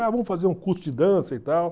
Ah, vamos fazer um curso de dança e tal.